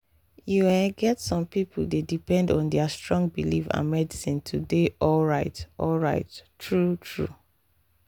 you ehh get some people dey depend on their strong belief and medicine to dey alright alright true-true